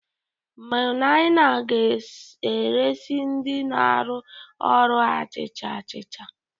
Maimuna ga-esire ndị na-arụ ọrụ achịcha achịcha